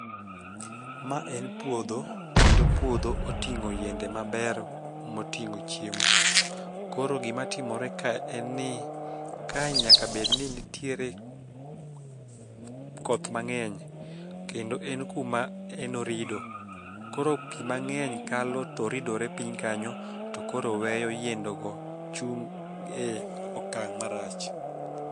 ma en puodho kendo puodho otingo yiende mabero motingo chiemo, koro gima timore ka kae nyaka bed ni nitiere koth mang'eny kendo en kuma en orido koro pi mang'eny kalo to ridore piny kanyo to koro weyo yiende go chung' e okang' marach